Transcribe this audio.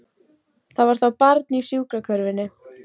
Það var þá barn í sjúkrakörfunni!